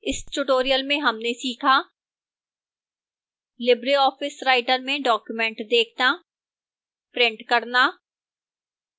इस tutorial में हमने सीखा: